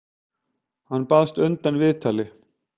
Hann baðst undan viðtali.